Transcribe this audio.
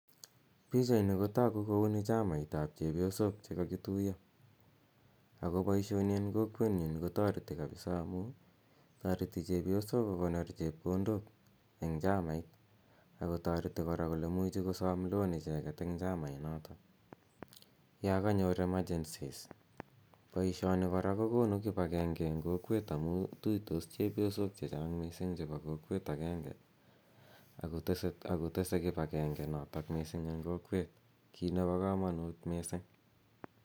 Pichaini ko tagu ko uni chamait ap chepyosok che kakituya. Akonpoishoni eng' kokwenyun ko taretj kapisa amu tareti chepyosok ko konor chepkondok eng' chamait ako kora kole imuchi kosam loan eng' chamainotok ya kanyor emergencies. Poishoni kpra ko konu kip agege eng' kokwet amu tuitos chepyosok che chang' missing' chepo kokwet agenge ako tese kip agenge notok missing' eng' kokwet, kiit nepo kamanut missing'.